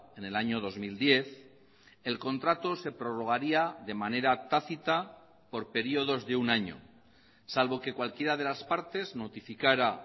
en el año dos mil diez el contrato se prorrogaría de manera tácita por periodos de un año salvo que cualquiera de las partes notificara